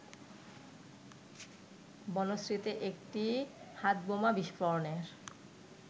বনশ্রীতে একটি হাতবোমা বিস্ফোরণের